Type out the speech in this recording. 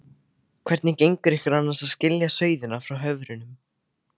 Hvernig gengur ykkur annars að skilja sauðina frá höfrunum?